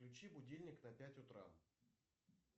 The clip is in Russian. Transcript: включи будильник на пять утра